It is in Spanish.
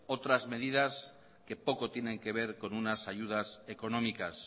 otras medidas que poco tienen que ver con unas ayudas económicas